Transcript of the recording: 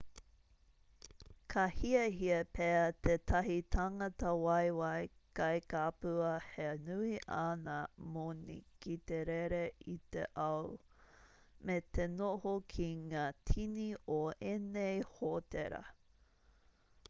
ka hiahia pea tētahi tangata waewae kai kapua he nui āna moni ki te rere i te ao me te noho ki ngā tini o ēnei hōtera